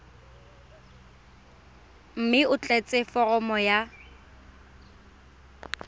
mme o tlatse foromo ya